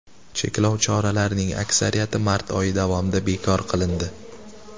Cheklov choralarining aksariyati mart oyi davomida bekor qilindi.